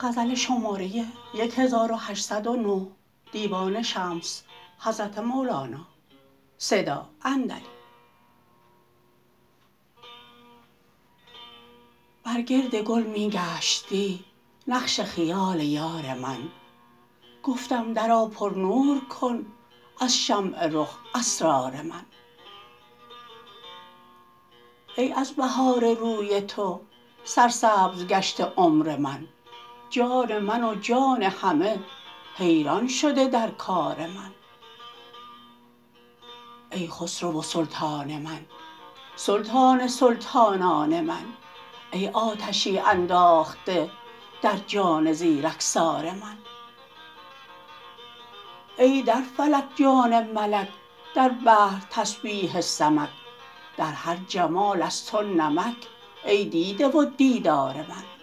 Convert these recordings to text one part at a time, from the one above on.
بر گرد گل می گشت دی نقش خیال یار من گفتم درآ پرنور کن از شمع رخ اسرار من ای از بهار روی تو سرسبز گشته عمر من جان من و جان همه حیران شده در کار من ای خسرو و سلطان من سلطان سلطانان من ای آتشی انداخته در جان زیرکسار من ای در فلک جان ملک در بحر تسبیح سمک در هر جمال از تو نمک ای دیده و دیدار من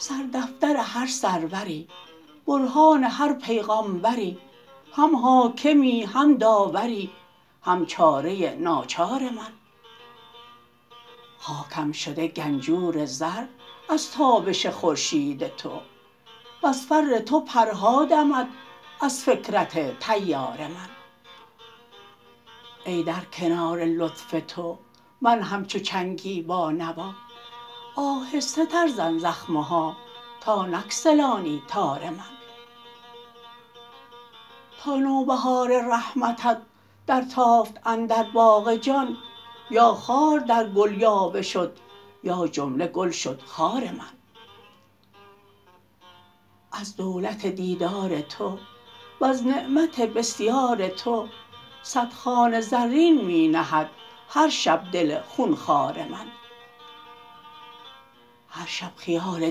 سردفتر هر سروری برهان هر پیغامبری هم حاکمی هم داوری هم چاره ناچار من خاکم شده گنجور زر از تابش خورشید تو وز فر تو پرها دمد از فکرت طیار من ای در کنار لطف تو من همچو چنگی بانوا آهسته تر زن زخمه ها تا نگسلانی تار من تا نوبهار رحمتت درتافت اندر باغ جان یا خار در گل یاوه شد یا جمله گل شد خار من از دولت دیدار تو وز نعمت بسیار تو صد خوان زرین می نهد هر شب دل خون خوار من هر شب خیال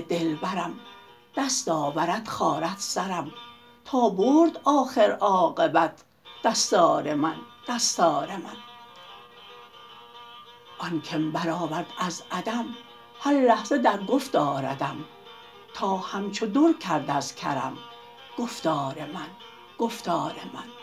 دلبرم دست آورد خارد سرم تا برد آخر عاقبت دستار من دستار من آن کم برآورد از عدم هر لحظه در گفت آردم تا همچو در کرد از کرم گفتار من گفتار من